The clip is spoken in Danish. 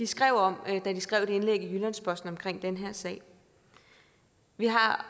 skrev om da de skrev det indlæg i jyllands posten om den her sag vi har